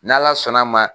N'ala sɔnn'a ma